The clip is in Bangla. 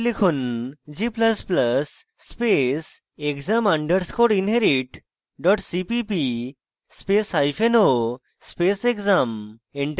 g ++ space exam underscore inherit dot cpp spaceo space exam